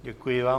Děkuji vám.